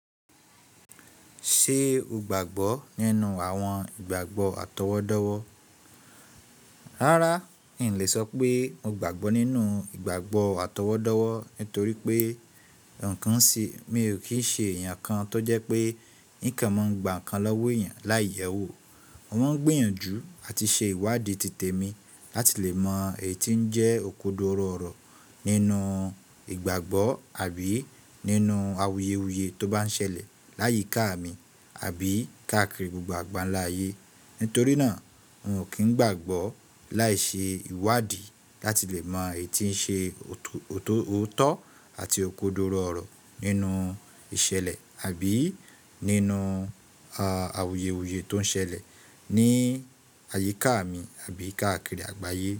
Ṣe o gbagbọ ninu awọn igbagbọ atọwọdọwọ? Rárá, n lè sọ pé mo gbàgbọ́ nínú ìgbàgbọ́ àtọwọ́dọ̀wọ́ nítorí pé àkánṣe mi ò kì í ṣe èèyàn kan tó jẹ́ pé ní kàn má ń gba nǹkan lọ́wọ́ èèyàn láì yẹ́wò. Mo máa ń gbìyànjú àti ṣe ìwádìí tìtẹ̀mí láti lè mọ èyí tí ó ń jẹ́ òko dọ̀rọ̀ ọ̀rọ̀ nínú ìgbàgbọ́ àbí nínú àwùyèwùyè tó bá ń ṣẹlẹ̀ láyíkà mi àbí káakiri gbogbo àgbàlanyé. Nítorí náà, n ò kì í gbàgbọ́ láì ṣe ìwádìí láti lè mọ èyí tíń ṣe o, o- òótọ́ àti òkodọ̀rọ̀ ọ̀rọ̀ nínú ìṣẹ̀lẹ̀ àbí nínú a àwùyèwùyè tó ń ṣẹlẹ̀ ní àyíkà mi àbí káakiri àgbàyé.